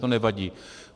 To nevadí.